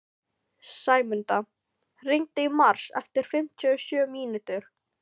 Sæmunda, hringdu í Mars eftir fimmtíu og sjö mínútur.